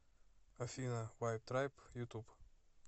афина вайб трайб ютуб